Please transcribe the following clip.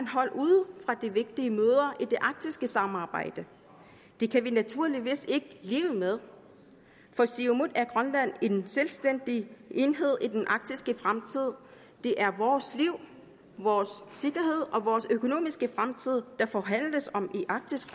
holdt ude fra de vigtige møder i det arktiske samarbejde det kan vi naturligvis ikke leve med for siumut er grønland en selvstændig enhed i den arktiske fremtid det er vores liv vores sikkerhed og vores økonomiske fremtid der forhandles om i arktisk